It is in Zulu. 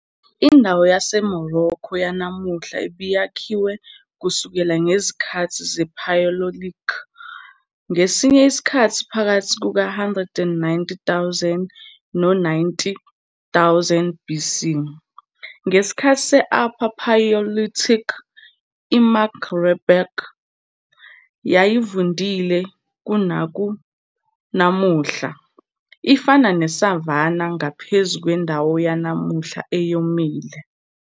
Indawo yaseMorocco yanamuhla ibakhiwe kusukela ngezikhathi zePaleolithic, ngesinye isikhathi phakathi kuka-190,000 no-90,000 BC. Ngesikhathi se-Upper Paleolithic, iMaghreb yayivundile kunaku namuhla, ifana ne-savanna ngaphezu kwendawo yanamuhla eyomile.